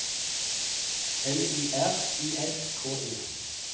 L Y R I S K E